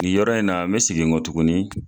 Ŋin yɔrɔ in na n be segin n kɔ tuguni